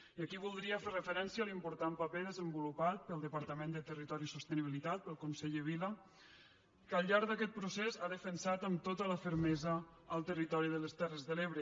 i aquí voldria fer referència a l’important paper desenvolupat pel departament de territori i sostenibilitat pel conseller vila que al llarg d’aquest procés ha defensat amb tota la fermesa el territori de les terres de l’ebre